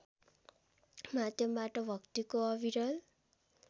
माध्यमबाट भक्तिको अविरल